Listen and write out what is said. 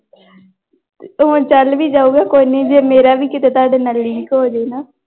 ਉਹ ਚੱਲ ਵੀ ਜਾਊਗਾ ਕੋਈ ਨੀ ਜੇ ਮੇਰਾ ਵੀ ਕਿਤੇ ਤੁਹਾਡੇ ਨਾਲ link ਹੋ ਜਾਏ ਨਾ।